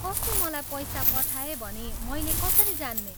कसले मलाई पैसा पठाए भनी मैले कसरी जान्ने?